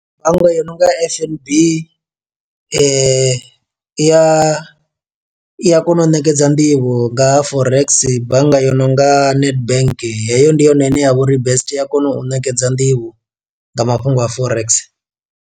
Bannga yo no nga fnb i ya i a kona u ṋekedza nḓivho nga ha forex, bannga yo nonga nedbank heyo ndi yone ine ya vha uri best i a kona u ṋekedza nḓivho nga mafhungo a forex.